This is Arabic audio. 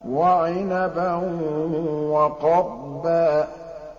وَعِنَبًا وَقَضْبًا